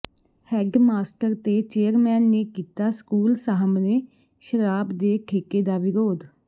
head master ਤੇ chairman ਨੇ ਕੀਤਾ ਸਕੂਲ ਸਾਹਮਣੇ ਸ਼ਰਾਬ ਦੇ ਠੇਕੇ ਦਾ ਵਿਰੋਧ